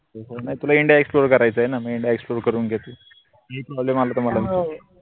नाई तुला indiaexplore करायचंय ना म इंडिया explore करून घे तू काही problem आला त